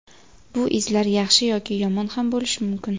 Bu izlar yaxshi yoki yomon ham bo‘lishi mumkin.